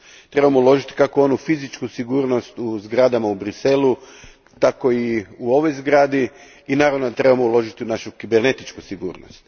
Trebamo uložiti kako u onu fizičku sigurnost u zgradama u Bruxellesu, tako i u ovoj zgradi i naravno da trebamo uložiti u našu kibernetičku sigurnost.